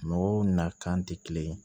Mɔgɔw na kan tɛ kelen ye